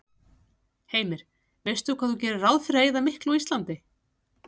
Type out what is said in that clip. Heimir: Veistu hvað þú gerir ráð fyrir að eyða miklu á Íslandi?